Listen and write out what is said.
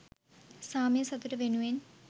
සාමය සතුට වෙනුවෙන්